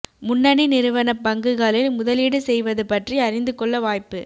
முன்னணி நிறுவன பங்குகளில் முதலீடு செய்வது பற்றி அறிந்து கொள்ள வாய்ப்பு